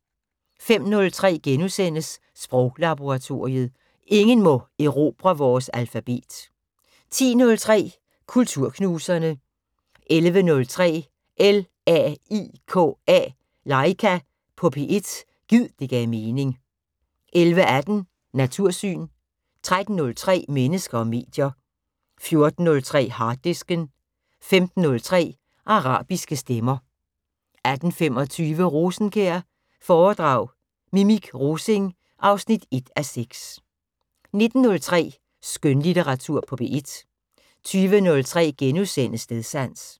05:03: Sproglaboratoriet: Ingen må erobre vores alfabet * 10:03: Kulturknuserne 11:03: LAIKA på P1 – gid det gav mening 11:18: Natursyn 13:03: Mennesker og medier 14:03: Harddisken 15:03: Arabiske stemmer 18:25: Rosenkjær foredrag Mimik Rosing 1:6 19:03: Skønlitteratur på P1 20:03: Stedsans *